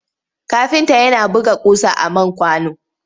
Kafinta yana buga ƙusa a man kwano.